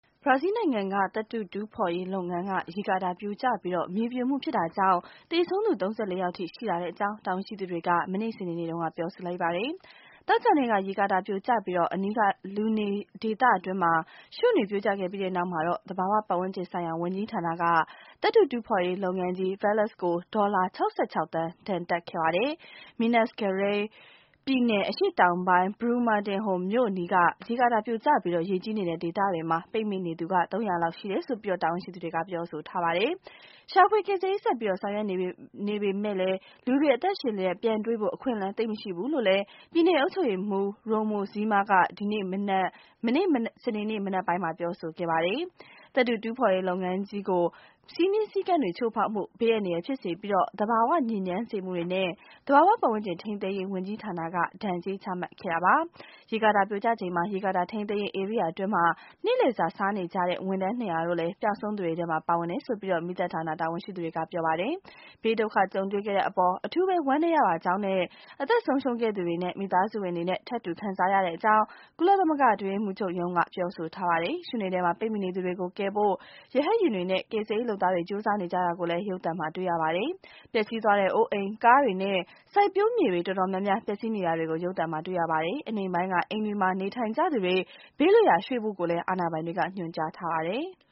ဘရာဇီလ်းနိုင်ငံက သတ္တုတူးဖော်ရေးလုပ်ငန်းက ရေကာတာပြိုကျပြီး မြေပြိုခဲ့တာကြောင့် သေဆုံးသူ ၃၄ ယောက်ထိ ရှိလာကြောင်း တာဝန်ရှိသူတွေက မနေ့ စနေနေ့မှာ ပြောပါတယ်။ သောကြာနေ့က ရေကာတာ ပြိုကျပြီး အနီးက လူနေဒေသအတွင်း ရွံ့တွေ ပြိုကျခဲ့ပြီးနောက်မှာတော့ သဘာဝ ပတ်ဝန်းကျင်ဆိုင်ရာ ဝန်ကြီးဌာနက သတ္တုတူးဖော်ရေး လုပ်ငန်းကြီး Vales ကို ဒေါ်လာ ၆၆ သန်း ဒဏ်တပ်ခဲ့ပါတယ်။ Minas Gerais ပြည်နယ် အရှေ့တောင်ပိုင်း Brumadinho မြို့ အနီးက ရေကာတာ ပြိုကျပြီး ရေကြီးနေတဲ့ ဒေသတွေမှာ ပိတ်မိနေသူ ၃၀၀ လောက် ရှိတယ်လို့လည်း တာဝန်ရှိသူတွေက ပြောပါတယ်။ ရှာဖွေ ကယ်ဆယ်ရေး ဆက်ပြီး ဆောင်ရွက်နေပေမယ်လို့လည်း လူတွေကို အသက်ရှင်လျက် ပြန်တွေ့ဖို့ အခွင့်အလမ်း သိပ်မရှိတော့ဘူးလို့ ပြည်နယ် အုပ်ချုပ်ရေးမှူး Romeu Zema က မနေ့ စနေနေ့ မနက်ပိုင်းမှာ ပြောပါတယ်။ သတ္တုတူးဖော်ရေး လုပ်ငန်းကြီး Vales ကို စည်းမျဉ်းစည်းကမ်းတွေ ချိုးဖောက်မှု၊ ဘေးအန္တရာယ် ဖြစ်စေပြီး သဘာဝ ညစ်ညမ်းစေမှုတွေနဲ့ သဘာဝ ပတ်ဝန်းကျင် ထိန်းသိမ်းရေး ဝန်ကြီးဌာနက ဒဏ်ကြေးချမှတ်ခဲ့တာပါ ရေကာတာ ပြိုကျချိန်မှာ ရေကာတာ ထိန်းချုပ်ရေး ဧရိယာအတွင်းမှာ နေ့လည်စာ စားနေကြတဲ့ ဝန်ထမ်း ၂၀၀ တို့လည်း ပျောက်ဆုံးသူတွေထဲမှာ ပါဝင်တယ်လို့ မီးသတ် ဌာန တာဝန်ရှိသူတွေက ပြောပါတယ်။ ဘေးဒုက္ခကြုံတွေ့ရတဲ့အပေါ် အထူးဝမ်းနည်းရ ပါကြောင်းနဲ့ အသက်ဆုံးရှုံးခဲ့ရသူတွေရဲ့ မိသားစုဝင်တွေနဲ့ ထပ်တူခံစားရပါကြောင်း ကုလသမဂ္ဂ အတွင်းရေးမှူးချုပ်ရုံးက ပြောဆိုထားပါတယ်။ ရွံ့တွေထဲမှာ ပိတ်မိနေသူတွေကို ကယ်ဖို့ ရဟတ်ယာဉ်တွေနဲ့ ကယ်ဆယ်ရေး လုပ်သားတွေ ကြိုးစားနေကြတာကိုလည်း ရုပ်သံမှာ တွေ့ရပါတယ်။ ပျက်စီးသွားတဲ့ အိုးအိမ်၊ ကားတွေနဲ့ စိုက်ပျိုးမြေတွေ အတော်များများ ပျက်စီးနေတာတွေကိုလည်း ရုပ်သံမှာ တွေ့ရပါတယ်။ အနိမ့်ပိုင်းက အိမ်တွေမှာ နေထိုင်နေကြသူတွေ ဘေးလွတ်ရာ ရွှေ့ဖို့လည်း အာဏာပိုင်တို့က ညွှန်ကြားထားပါတယ်။